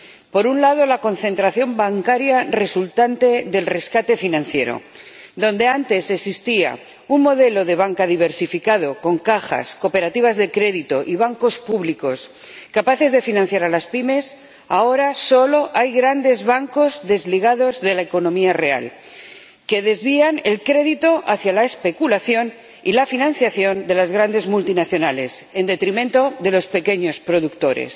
Por un lado, la concentración bancaria resultante del rescate financiero donde antes existía un modelo de banca diversificado con cajas, cooperativas de crédito y bancos públicos capaces de financiar a las pymes, ahora solo hay grandes bancos desligados de la economía real, que desvían el crédito hacia la especulación y la financiación de las grandes multinacionales, en detrimento de los pequeños productores.